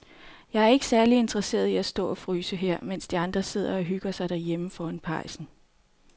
Jeg er ikke særlig interesseret i at stå og fryse her, mens de andre sidder og hygger sig derhjemme foran pejsen.